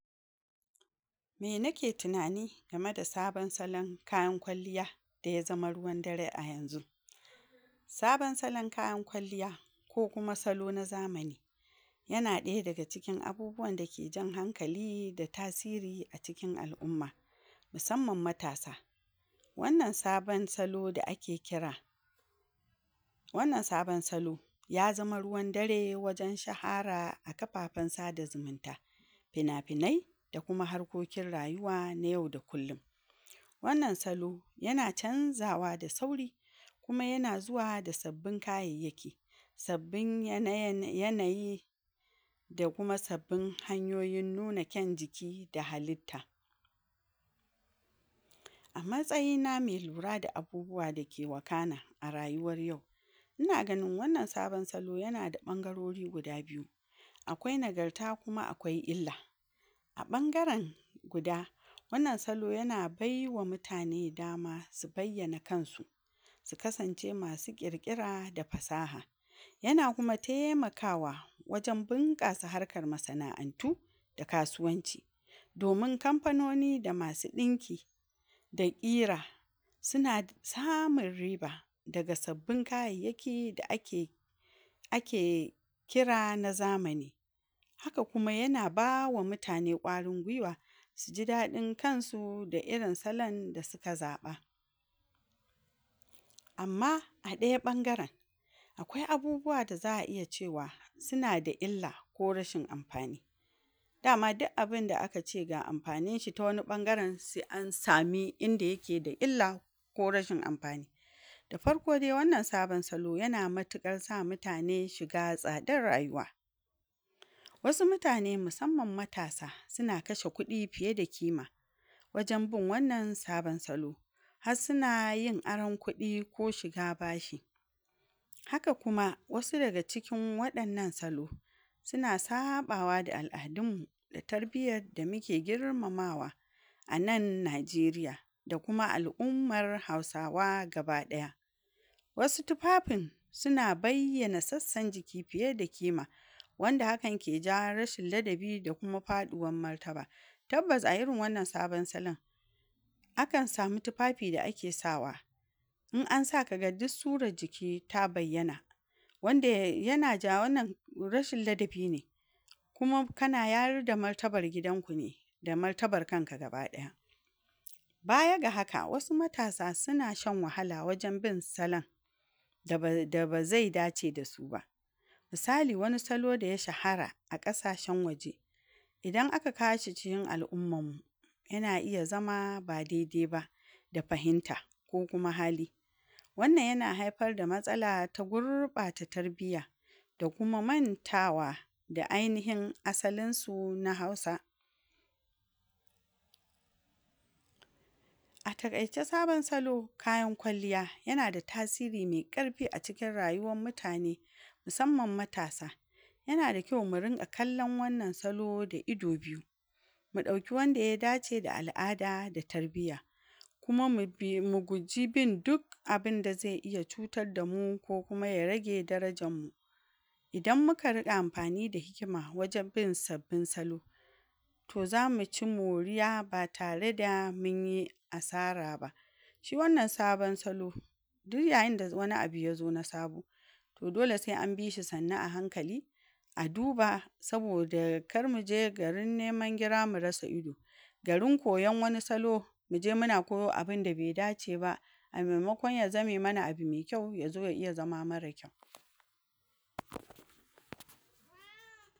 Me nake tinani game da saban salan kayan kwalliya da ya zama ruwan dare a yanzu? saban salan kayan kwalliya ko kuma salo na zamani yana ɗaya daga cikin abubuwanda ke jan hankali da tasiri a cikin al'umma, musamman matasa, wannan saban salo da ake kira wannan saban salo ya zama ruwan dare wajen shahara a kafafen sada zimunta, fina-finai da kuma harkokin rayuwa na yau da kullin,, wannan salo yana canzawa da sauri kuma yana zuwa da sabbin kayayyaki, sabbin yana yan yanayi da kuma sabbin hanyoyin nuna kyan jiki da halitta, a matsayina me lura da abubuwa da ke wakana a rayuwar yau, ina ganin wannan saban salo yana da ɓangarori guda biyu: Akwai nagarta kuma akwai illa, a ɓangaren guda wannan salo yana baiwa mutane dama su bayyana kansu su kasance masu ƙirƙira da fasaha, yana kuma taimakawa wajen bunƙasa harkar masana'antu da kasuwanci, domin kamfoni da masu ɗinki da ƙira, sina samun riba daga sabbin kayayyaki da ake ake kira na zamani, haka kuma yana bawa mutane ƙwarin gwiwa siji daɗin kansu da irin salan da sika zaɓa, amma a ɗaya ɓangaren akwai abubuwa da za'a iya cewa sina da illa ko rashin amfani, dama di'abinda aka ce ga amfaninshi ta wani ɓangaren se an sami inda yake da illa ko rashin amfani, da farko de wannan saban salo yana matiƙar sa mutane shiga tsadar rayuwa, wasu mutane musamman matasa sina kashe kuɗi fiye da kima wajen bun wannan saban salo, hassina yin aran kuɗi ko shiga bashi haka kuma wasu daga cikin waɗannan salo sina saɓawa da al'adunmmu da tarbiyar da mike girmamawa a nan Najeriya, da kuma al'ummar hausawa gaba ɗaya, wasu tufafin sina bayyana sassan jiki fiye da kima wanda hakan ke jawo rashin ladabi da kuma faɗuwam martaba, tabbas a irin wannan saban salan akan sami tifafi da ake sawa in an sa kaga dus surar jiki ta bayyana, wanda yana ja wannan rashin ladabi ne, kuma kana yarda martabar gidanku ne da martabar kanka gaba ɗaya, baya ga haka wasu matasa sina shan wahala wajen bin salan, da ba da ba zai dace da su ba, misali wani salo da ya shahara a ƙasashen waje, idan aka kawo shi cikin al'ummammu yana iya zama ba dede ba da fahimta ko kuma hali, wannan yana haifar da matsala ta gurɓata tarbiya da kuma mantawa da ainihin asalinsu na Hausa, a taƙaice saban salo kayan kwalliya yana da tasiri me ƙarfi a cikin rayuwam mutane musamman matasa, yana da kyau mu rinƙa kallan wannan salo da ido biyu, mu ɗauki wanda ya dace da al'ada da tarbiya, kuma mu bi... mu guji bin duk abinda ze iya cutadda mu ko kuma ya rage darajammu, idan muka riƙa amfani da hikima wajen bin sabbin salo to zamu ci moriya ba tare da munyi asara ba, shi wannan saban salo duyyayinda wani abu yazo na sabo to dole se an bishi sannu a hankali a duba saboda kar muje garin neman gira a rasa ido, garin kooan wani salo muje muna koyo abinda be dace ba, a memakon ya zame mana abi me kyau yazo ya iya zama mara kyau.